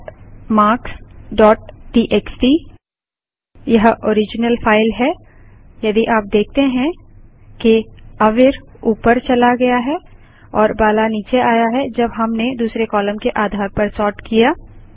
cat marks dot TXT यह original file है यदि आप देखते हैं कि अवीर ऊपर चला गया और बाला नीचे आ गया है जब हमने दूसरे कालम के आधार पर सोर्ट किया